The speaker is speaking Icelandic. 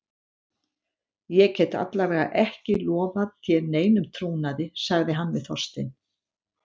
Ég get alla vega ekki lofað þér neinum trúnaði- sagði hann við Þorstein.